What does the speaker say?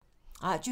Radio 4